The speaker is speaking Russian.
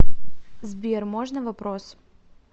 сбер можно вопрос